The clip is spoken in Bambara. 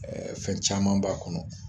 Ɛɛ fɛn caman b'a kɔnɔ